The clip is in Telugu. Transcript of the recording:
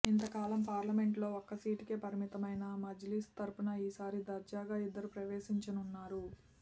ఇంతకాలం పార్లమెంటులో ఒక్క సీటుకే పరిమితమైన మజ్లిస్ తరఫున ఈసారి దర్జాగా ఇద్దరు ప్రవేశించనున్నారు